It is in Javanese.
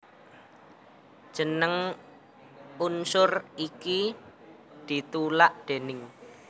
Jeneng unsur iki ditulak déning